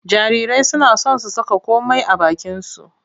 Jarirai suna son su saka komai a bakinsu.